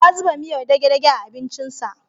Ya zuba miyar dage-dage a abincinsa